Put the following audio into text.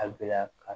Abila ka